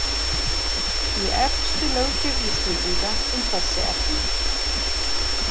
Í elstu löggjöf Íslendinga um þessi efni.